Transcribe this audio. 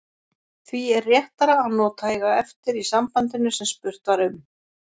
því er réttara að nota eiga eftir í sambandinu sem spurt var um